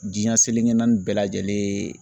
Diɲɛ seleke naani bɛɛ lajɛlen